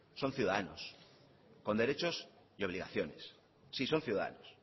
son ciudadanos con derechos y obligaciones sí son ciudadanos